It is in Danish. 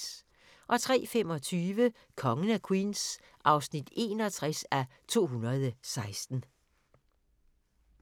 03:25: Kongen af Queens (61:216)